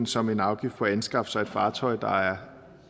som en afgift for at anskaffe sig et fartøj der er